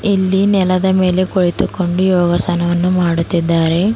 ಇಲ್ಲಿ ನೆಲದ ಮೇಲೆ ಕುಳಿತುಕೊಂಡು ಯೋಗಾಸನವನ್ನು ಮಾಡುತ್ತಿದ್ದಾರೆ.